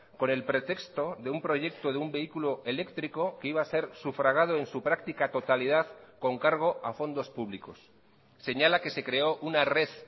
con el pretexto de un proyecto de un vehículo eléctrico que iba a ser sufragado en su práctica totalidad con cargo a fondos públicos señala que se creó una red